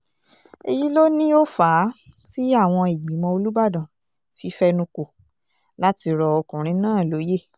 èyí ló ní ó fà á tí àwọn ìgbìmọ̀ olùbàdàn fi fẹnu kò láti rọ ọkùnrin náà lóye